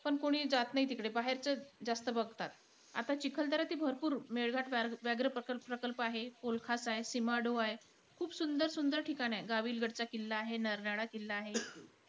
पण कोणी जात नाई तिकडे. बाहेरचेचं जास्त बघतात. आता चिखलदर्याचे भरपूर मेळघाट व्या व्याघ्र प्र प्रकल्प आहे, पोलखात आहे, सीमाडो आहे. खूप सुंदर सुंदर ठिकाणं आहे. गाविलगडचा किल्ला आहे, नरनाळा किल्ला आहे.